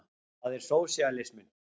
Það er sósíalisminn.